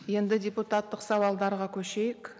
енді депутаттық сауалдарға көшейік